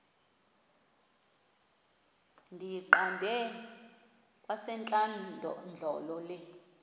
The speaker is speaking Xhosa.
ndiyiqande kwasentlandlolo le